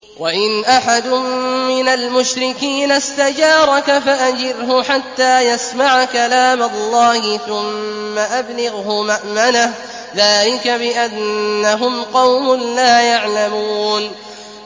وَإِنْ أَحَدٌ مِّنَ الْمُشْرِكِينَ اسْتَجَارَكَ فَأَجِرْهُ حَتَّىٰ يَسْمَعَ كَلَامَ اللَّهِ ثُمَّ أَبْلِغْهُ مَأْمَنَهُ ۚ ذَٰلِكَ بِأَنَّهُمْ قَوْمٌ لَّا يَعْلَمُونَ